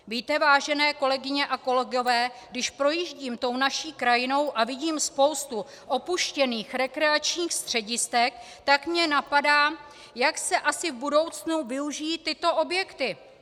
Víte, vážené kolegyně a kolegové, když projíždím tou naší krajinou a vidím spoustu opuštěných rekreačních středisek, tak mě napadá, jak se asi v budoucnu využijí tyto objekty?